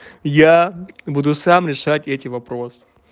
я буду сам решать эти вопросы